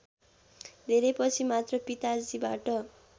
धेरैपछि मात्र पिताजीबाट